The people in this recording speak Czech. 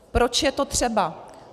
Proč je to třeba?